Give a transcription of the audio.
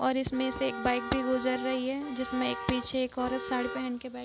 और इसमें से एक बाइक भी गुजर रही है जिसमें एक पीछे एक औरत साडी पहन कर बैठी है |